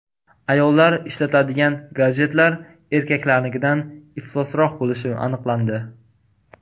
Ayollar ishlatadigan gadjetlar erkaklarnikidan iflosroq bo‘lishi aniqlandi.